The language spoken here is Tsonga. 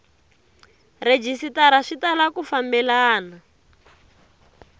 rhejisitara swi tala ku fambelana